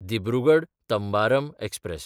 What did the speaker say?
दिब्रुगड–तंबारम express